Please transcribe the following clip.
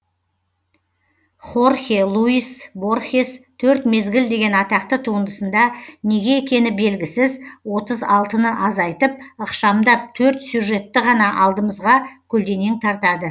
хорхе луис борхес төрт мезгіл деген атақты туындысында неге екені белгісіз отыз алтыны азайтып ықшамдап төрт сюжетті ғана алдымызға көлденең тартады